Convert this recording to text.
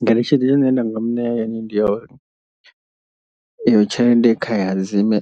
Ngeletshedzo ine nda nga muṋea yone ndi ya uri, iyo tshelede kha i ha dzismme